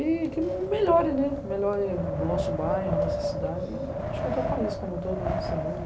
E que melhore, né, melhore nosso bairro, nossa cidade e acho que até o país como um todo, né, esse mundo.